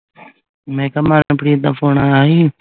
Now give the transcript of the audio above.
ਮੈਂ ਕਿਹਾ ਲਟਪ੍ਰੀਤ ਦਾ phone ਆਇਆ ਸੀ